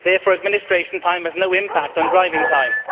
therefore, administration time has no impact on driving time.